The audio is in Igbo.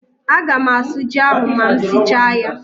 Aga m asụ ji ahụ ma m sichaa ya.